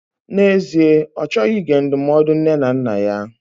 N'ezie, Ọ chọghị ige ndụmọdụ nne na nna ya.